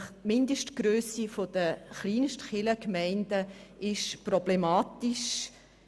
Die Mindestgrösse der Kleinstkirchgemeinden ist problematisch.